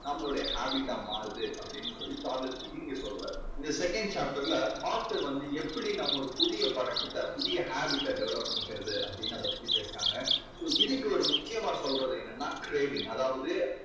நம்மளோட habit டா மாறுது அப்படீன்னு சொல்லி சார்லஸ் டிக்கின்ஸ் இங்கே சொல்றாரு. இந்த second chapter ல author வந்து எப்படி நம்ம ஒரு புதிய பழக்கத்தை புதிய habit அ develop பண்ணிக்கறது அப்படீன்னு அதைப் பத்தி பேசறாங்க. so இதுக்கு ஒரு முக்கியமா சொல்றது என்னன்னா craving அதாவது